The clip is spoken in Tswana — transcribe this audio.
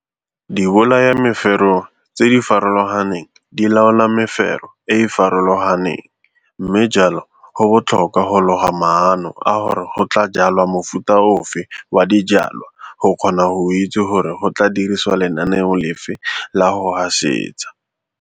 Dibolayameferoe tse di farologaneng di laola mefero e e farologaneng mme jalo go botlhokwa go loga maano a gore go tlaa jwalwa mofuta ofe wa dijwalwa go kgona go itse gore go tlaa dirisiwa lenaneo lefe la go gasetsa.